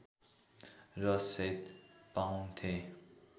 र सेट पाउँथे